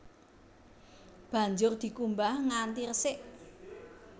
Banjur dikumbah nganti resik